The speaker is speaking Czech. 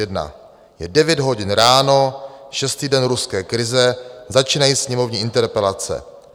Je 9 hodin ráno, šestý den ruské krize, začínají sněmovní interpelace.